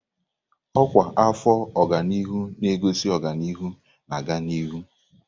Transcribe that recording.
Ọkwa afọ ọganihu na-egosi ọganihu na-aga n'ihu.